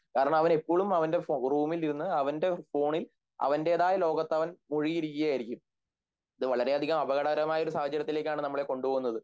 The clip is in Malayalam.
കാരണം അവൻ ഇപ്പോഴും അവന്റെ റൂമിലിരുന്ന് അവൻ്റെ ഫോണിൽ അവന്റേതായ ലോകത്ത്‌ അവൻ മുഴുകിയിരിക്കുകയായിരിക്കും ഇത് വളരെയധികം അപകടപരമായ ഒരു സഹജര്യത്തിലേക്കാണ് നമ്മളെ കൊണ്ടുപ്പോകുന്നത്